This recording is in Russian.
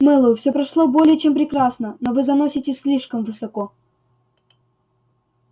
мэллоу все прошло более чем прекрасно но вы заноситесь слишком высоко